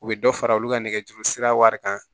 U bɛ dɔ fara olu ka nɛgɛjuru sira wari kan